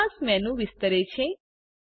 bookmark menu વિસ્તરે છે